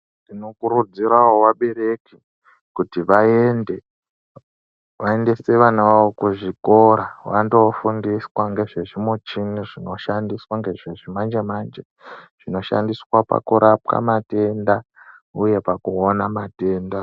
Tinokurudzirawo vabereki kuti vaende vaendese vana vavo kuzvikora vandofundiswa ngezvezvimichini zvinoshandiswa ngezvechimanje manje zvinoshandiswa pakurapa matenda uye pakuona matenda.